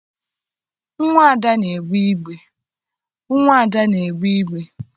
Nnwa Ada na-egbe igbe.